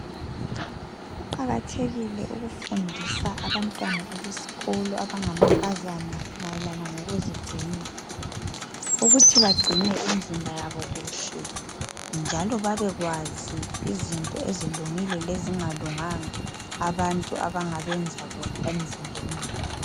Kuqakathekile ukufundisa abantwana ebesikolo abanga mankazana mayelana ngokuzigcina, ukuthi bagcine imizimba yabo kuhle njalo babekwazi izinto ezilungile lezingalunganga abantu abangabenza bona emizimbeni yabo